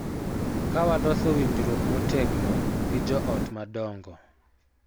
Ka waloso winjruok motegno gi jo ot madongo,